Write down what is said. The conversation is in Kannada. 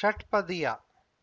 ಷಟ್ಪದಿಯ